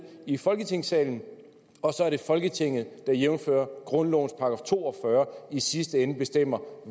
i folketingssalen og så er det folketinget der jævnfør grundlovens § to og fyrre i sidste ende bestemmer